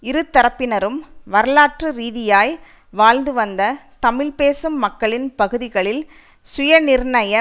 இருதரப்பினரும் வரலாற்று ரீதியாய் வாழ்ந்துவந்த தமிழ் பேசும் மக்களின் பகுதிகளில் சுயநிர்ணய